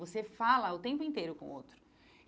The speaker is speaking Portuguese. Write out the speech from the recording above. Você fala o tempo inteiro com o outro.